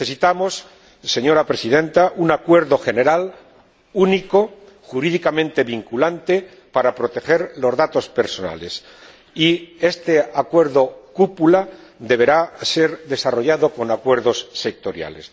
Necesitamos, señora Presidenta, un acuerdo general único, jurídicamente vinculante, para proteger los datos personales. Y este acuerdo cúpula deberá ser desarrollado con acuerdos sectoriales